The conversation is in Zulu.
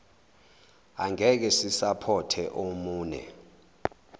angekhe sisapothe omune